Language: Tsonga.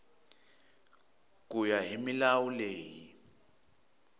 ku ya hi milawu leyi